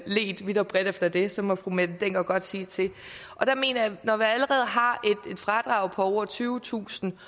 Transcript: ledt vidt og bredt efter det så må fru mette hjermind dencker godt sige til der mener jeg at når vi allerede har et fradrag på over tyvetusind